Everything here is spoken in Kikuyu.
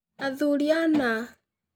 Athuuri ana.